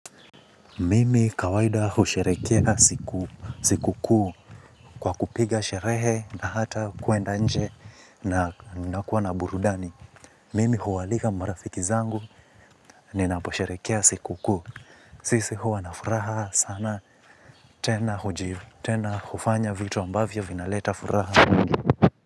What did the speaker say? Mimi kawaida husherekea siku kuu kwa kupiga sherehe na hata kuenda nje na nakuwa na burudani. Mimi huwaalika marafiki zangu ninaposherekea siku kuu. Sisi huwa na furaha sana tena hujivu tena hufanya vitu ambavyo vinaleta furaha.